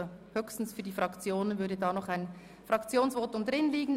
Allerdings sind nur Fraktionsvoten möglich.